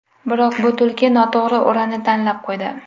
Biroq bu tulki noto‘g‘ri o‘rani tanlab qo‘ydi.